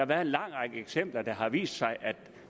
været en lang række eksempler og det har vist sig at